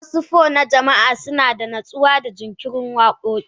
Wasu po na jama'a suna da natsuwa da jinkirin waƙoƙi.